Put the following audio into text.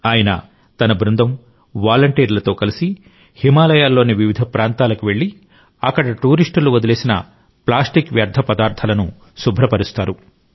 ఆయన తన బృందం వాలంటీర్లతో కలిసి హిమాలయాలలోని వివిధ ప్రాంతాలకు వెళ్లి అక్కడ టూరిస్టులు వదిలేసిన ప్లాస్టిక్ వ్యర్థ పదార్థాలను శుభ్రపరుస్తారు